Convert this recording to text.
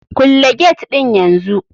Kulle get din yanzu!